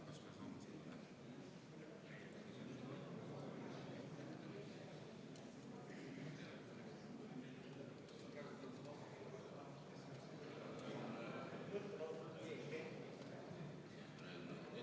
Aa, eelnõu on üle anda.